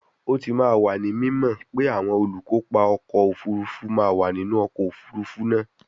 O ti wa ni mimo pe awọn olukopa ọkọ ofurufu ma wa ninu ọkọ ofurufu naa